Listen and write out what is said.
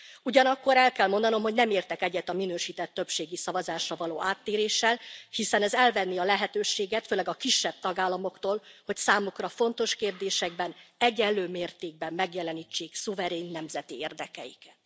Ugyanakkor el kell mondanom, hogy nem értek egyet a minősített többségi szavazásra való áttéréssel, hiszen ez elvenné a lehetőséget, főleg a kisebb tagállamoktól, hogy számukra fontos kérdésekben egyenlő mértékben megjelenítsék szuverén nemzeti érdekeiket.